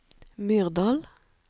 Myrdal